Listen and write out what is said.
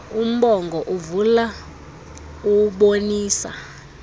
umbongo uvula ubonisa